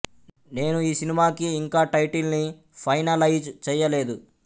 నేను ఈ సినిమాకి ఇంకా టైటిల్ ని ఫైనలైజ్ చెయ్యలేదు